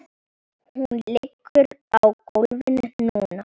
Hún liggur á gólfinu núna.